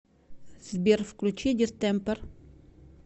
сбер включи дистемпер